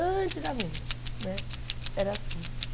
Antigamente, né, era assim.